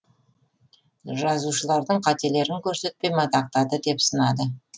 жазушылардың қателіктерін көрсетпей мадақтады деп сынады